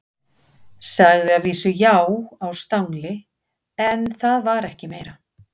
Sagði að vísu já á stangli, en það var ekki meira.